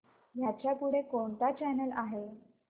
ह्याच्या पुढे कोणता चॅनल आहे